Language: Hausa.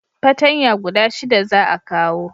patanya guda shida za a kawo